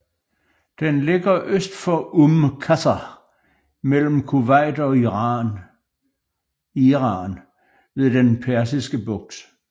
Den ligger øst for Umm Qasr mellem Kuwait og Iran ved den Persiske Bugt